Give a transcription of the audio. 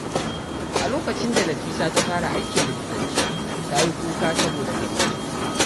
A lokacin da Nafisa ta fara aikin likitanci, ta yi kuka saboda farin ciki.